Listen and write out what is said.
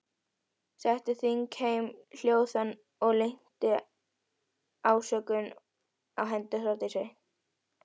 Setti þingheim hljóðan og linnti ásökunum á hendur Þórdísi.